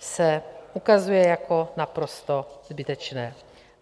se ukazuje jako naprosto zbytečné.